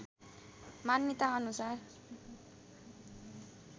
मान्यताअनुसार